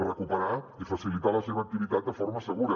recuperar i facilitar la seva activitat de forma segura